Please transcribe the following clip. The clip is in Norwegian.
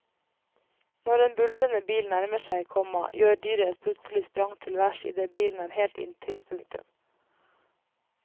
Når en buldrende bil nærmer seg, komma gjør dyret et plutselig sprang til værs idet bilen er helt inntil. punktum